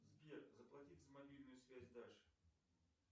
сбер заплатить за мобильную связь даше